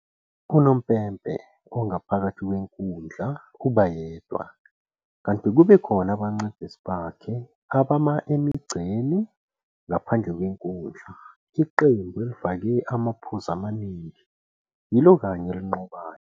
Unompempe ongaphakathi kwenkundla uba yedwa, kanti kube khona abancedisi bakhe abama emigqeni ngaphandle kwenkundla. Iqembu elifake amaphuzu amaningi yilo kanye elinqobayo.